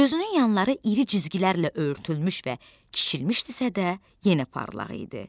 Gözünün yanları iri cizgilərlə örtülmüş və kiçilmişdisə də yenə parlaq idi.